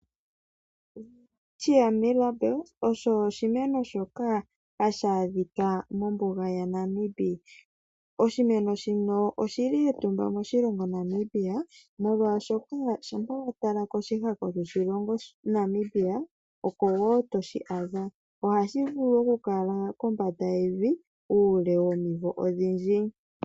Welwitchia Milabel osho oshimeno shoka hashaadhika mombunga yaNamibia. Oshimeno shino oshili etumba moNamibia oshoka ohashaadhika koshihako dhoshilongo, ohashi vulu okukala kombanda yevi oomvula odhindji.